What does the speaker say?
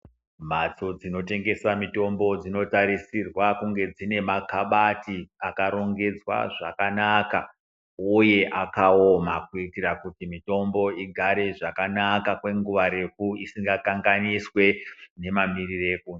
Mbatso dzinotengeswa mitombo dzinotarisirwa kunge dzine makabati akarongedzwa zvakanaka uye akaoma kuitira kuti mitombo igare zvakanaka kwemene nguwa refu isingakanganiswi nemamiriro ekunze.